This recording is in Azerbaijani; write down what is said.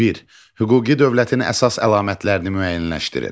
Bir: Hüquqi dövlətin əsas əlamətlərini müəyyənləşdirin.